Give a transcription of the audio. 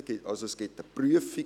Es gibt eine Prüfung.